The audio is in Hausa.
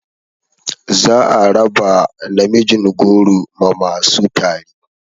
Za a raba namijin goro ma masu tari